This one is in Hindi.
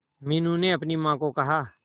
मीनू ने अपनी मां को कहा